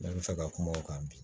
Ne bɛ fɛ ka kuma o kan bi